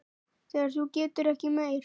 Þegar þú getur ekki meir.